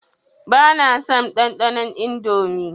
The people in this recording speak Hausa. Ba na son ɗanɗanon Indomie.